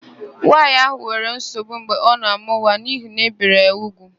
Nwaanyị ahụ nwere nsogbu mgbe ọ na-àmụ́ nwa n'ihi na ébèrè ya úgwù.